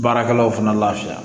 Baarakɛlaw fana lafiya